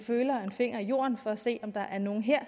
finger i jorden og se om der er nogen her